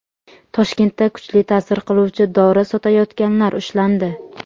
Toshkentda kuchli ta’sir qiluvchi dori sotayotganlar ushlandi.